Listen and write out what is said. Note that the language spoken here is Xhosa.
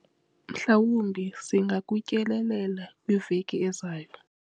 mhlawumbi singakutyelelela kwiveki ezayo